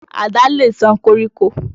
Àdá lè ṣán koríko.